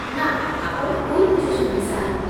ନା, ଆପଣ ଭୁଲ୍ ବୁଝୁଛନ୍ତି ସାର୍